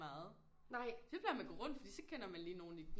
Meget så plejer man at gå rundt for så kender man lige nogen i